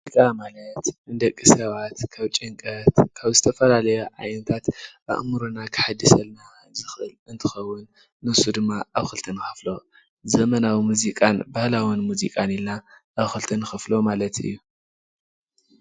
ሙዚቃ ማለት ንደቂ ሰባት ካብ ጭንቀት ካብ ዝተፈላለያ ዓይነታት ኣእምሮና ከሐድሰልና ዝኽእል እንትኸውን ንሱ ድማ ኣብ ክልተ ንኸፍሎ ዘመናዊ ሙዚቃን ባህላዊ ሙዚቃን ኢልና ኣብ ክልተ ንኸፍሎ ማለት እዪ።